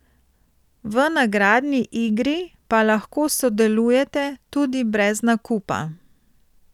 V nagradni igri pa lahko sodelujete tudi brez nakupa.